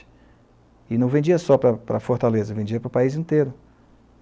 E não vendia só para para Fortaleza, vendia para o país inteiro.